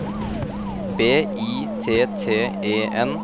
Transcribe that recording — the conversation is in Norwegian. B I T T E N